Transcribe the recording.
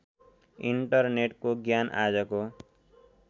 इन्टरनेटको ज्ञान आजको